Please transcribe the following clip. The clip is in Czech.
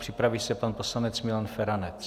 Připraví se pan poslanec Milan Feranec.